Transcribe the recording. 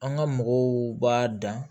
An ka mɔgɔw b'a dan